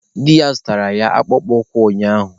Di na-alụ ya zụtaara ya akpụkpọ ụkwụ ụnyaahụ.